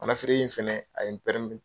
Mana feere in fana a ye